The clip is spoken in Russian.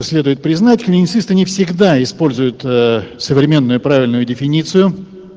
следует признать клиницисты не всегда используют ээ современную правильную дефиницию